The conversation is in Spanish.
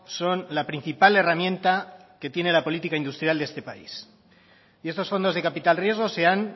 son la principal herramienta que tiene la política industrial de este país y estos fondos de capital riesgo se han